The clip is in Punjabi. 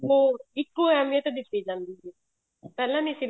ਉਹ ਇੱਕੋ ਅਹਿਮੀਅਤ ਦਿੱਤੀ ਜਾਂਦੀ ਸੀ ਪਹਿਲਾਂ ਨੀ ਸੀ